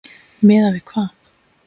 Miðað við hvað?